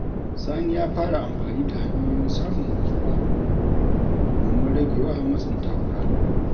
Sani ya fara amfani da hanyoyin samun natsuwa domin rage wa matsin takura.